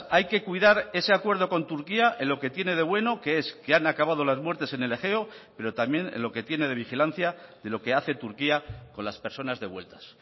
hay que cuidar ese acuerdo con turquía en lo que tiene de bueno que es que han acabado las muertes en el egeo pero también en lo que tiene de vigilancia de lo que hace turquía con las personas devueltas